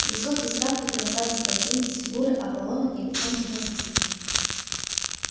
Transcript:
высокий статный красавец-блондин с фигурой аполлона и лицом кинозвезды